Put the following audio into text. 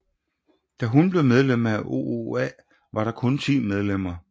Da hun blev medlem af OOA var der kun 10 medlemmer